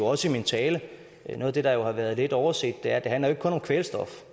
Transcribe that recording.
også i min tale noget der har været lidt overset er at det handler om kvælstof